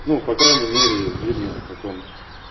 ну по крайней мере видно как он